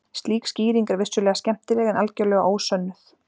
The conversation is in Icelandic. Slík skýring er vissulega skemmtileg en algerlega ósönnuð.